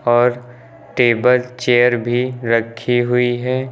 और table chair भी रखी हुई हैं।